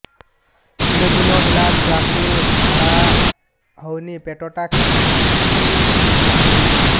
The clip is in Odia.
ତିନି ଦିନ ହେଲା ଛୁଆକୁ ଝାଡ଼ା ହଉନି ପେଟ ଟା କିମି କି ଅଛି